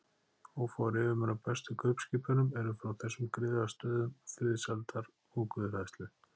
Ófáir yfirmenn á bestu kaupskipunum eru frá þessum griðastöðum friðsældar og guðhræðslu.